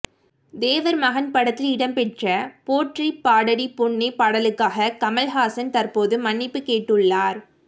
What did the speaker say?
தேவர் மகன் படத்தில் இடம்பெற்ற போற்றி பாடடி பொன்னே பாடலுக்காக கமல்ஹாசன் தற்போது மன்னிப்புக் கேட்டுள்ளார்